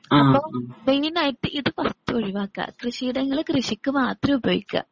അപ്പൊ മെയിനായിട്ട് ഇത് കുറച്ച് ഒഴിവാക്കുക കൃഷിയിടങ്ങള് കൃഷിക്കു മാത്രം ഉപയോഗിക്കുക.